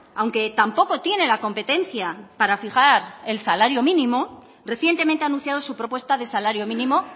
aunque tampoco tiene la competencia para fijar el salario mínimo recientemente ha anunciado su propuesta de salario mínimo